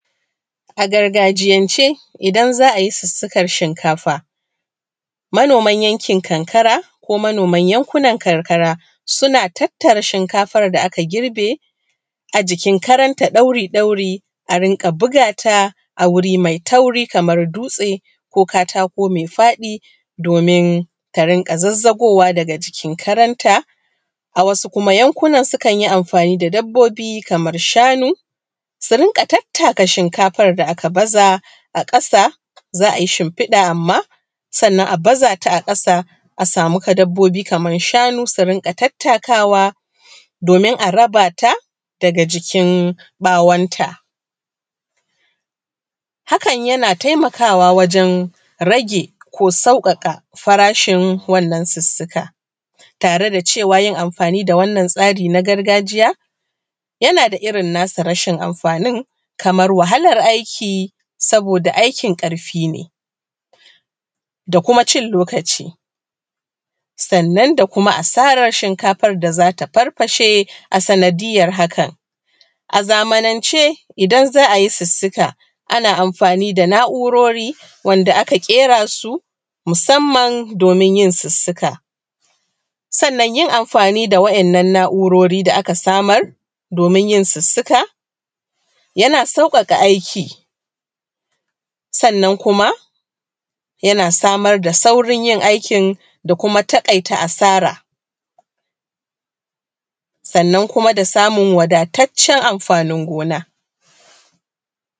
A gargajiyance idan za a yi sussukan shinkafa, manoman yankin karkara ko manoman yankunan karkara suna tattara shinkafar da aka girbe a jikin karan ta ɗauri ɗauri a rinƙa buga ta a wuri mai tauri kamar dutse, ko katako mai faɗi domin ta rinƙa zazzagowa daga cikin karanta. A wasu kuma yankunan sukan yi amfani da dabbobi kaman shanu su rinƙa tattaka shinkafan da aka baza a ƙasa. Za ai shinfiɗa amma sannan a baza ta a ƙasa, a samu dabbobi kaman shanu su rinƙa tattakawa domin a raba ta daga jikin bawon ta. Hakan yana taimakawa wajan rage ko sauƙaƙa farashin wannan sussuka tare da cewa yin amfani da wannan tsari na gargajiya yana da irin nasa rashin amfanin. Kamar wahalar aiki saboda aikin ƙarfi ne da kuma cin lokaci, sannan da kuma asarar shinkafan da za ta farfashe a sanadiyar hakan. A zamanance idan za a yi sussuka, ana amfani da na’urori wanda aka ƙera su musamman domin yin sussuka, sannan yin amfani da waɗannan na’urori da aka samar domin yin sussuka yana sauƙaƙa aiki, sannan kuma yana samar da saurin yin aikin, da kuma taƙaita asara, sannan kuma da samun wadataccen amfanin gona.